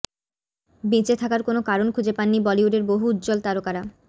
বেঁচে থাকার কোনও কারণ খুঁজে পান নি বলিউডের বহু উজ্জ্বল তারকারা